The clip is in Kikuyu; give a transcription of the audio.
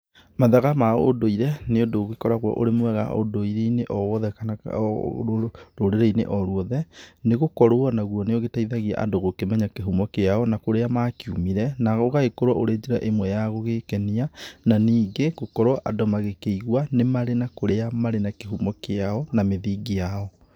Mathaga ma ũnduire, nĩũndũ ũgĩkoragwo ũrĩ mwega ũndũiriine owothe kana rũrĩini o ruothe, nĩĩ gũkorwo naguo nĩĩ ũgĩteithagia andũ gũkĩmenya kĩhumo kĩao na kũrĩa makiumire, na ũgagĩkorwo ũrĩ njĩra ĩmwe ya gugĩkenia, na ningĩ gũkorwo andũ magĩkĩigua níĩ mari na kũrĩa marĩ na kĩhumo kĩao na mĩthiingi yao.